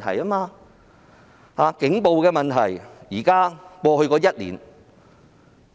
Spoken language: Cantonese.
以警暴問題為例，在過去一年，